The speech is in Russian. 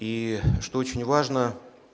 и что очень важно